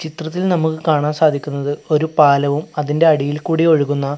ചിത്രത്തിൽ നമുക്ക് കാണാൻ സാധിക്കുന്നത് ഒരു പാലവും അതിന്റെ അടിയിൽ കൂടി ഒഴുകുന്ന--